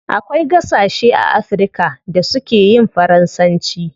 Akwai gasashe a africa da su keyin faransanci